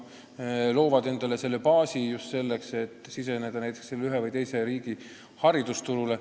Nii loovad nad ehk endale baasi selleks, et siseneda ühe või teise riigi haridusturule.